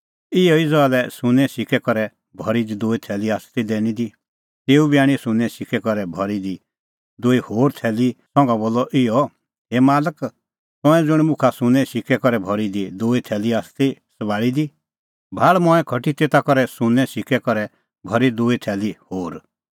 इहअ ई ज़हा लै सुन्नें सिक्कै करै भरी दी दूई थैली आसा ती दैनी दी तेऊ बी आणी सुन्नें सिक्कै करै भरी दी दूई होर थैली संघा बोलअ इहअ हे मालक तंऐं ज़ुंण मुखा सुन्नें सिक्कै करै भरी दी दूई थैली आसा ती सभाल़ी दी भाल़ मंऐं खटी तेता करै सुन्नें सिक्कै करै भरी दूई थैली होर